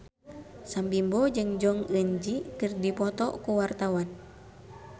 Sam Bimbo jeung Jong Eun Ji keur dipoto ku wartawan